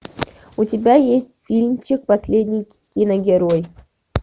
у тебя есть фильмчик последний киногерой